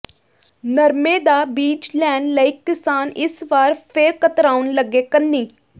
ਨਰਮੇ ਦਾ ਬੀਜ ਲੈਣ ਲਈ ਕਿਸਾਨ ਇਸ ਵਾਰ ਫਿਰ ਕਤਰਾਉਣ ਲੱਗੇ ਕੰਨੀ